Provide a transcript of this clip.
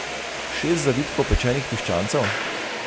Šest zavitkov pečenih piščancev?